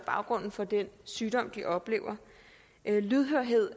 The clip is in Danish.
baggrunden for den sygdom de oplever lydhørhed